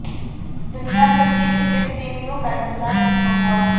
दुनिया भर के क्रिकेट प्रेमियों का इंतजार खत्म हुआ